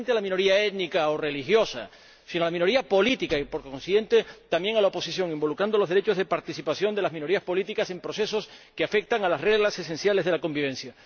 No solamente a la minoría étnica o religiosa, sino a la minoría política y, por consiguiente, también a la oposición, involucrando los derechos de participación de las minorías políticas en procesos que afectan a las reglas esenciales de la convivencia.